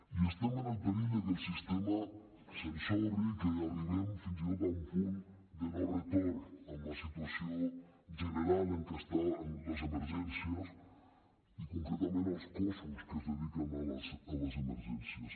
i estem en el perill que el sistema s’ensorri que arribem fins i tot a un punt de no retorn amb la situació general en què estan les emergències i concretament els cossos que es dediquen a les emergències